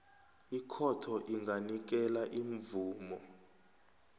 ikhotho inganikela imvumo